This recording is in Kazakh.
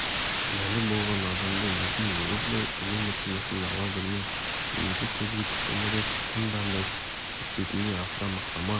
кінәлі болған адамды есін жиғызбай үнемі тынышын ала берме немесе көзге түскендерді тым дандайсып кетпейтіндей асыра мақтама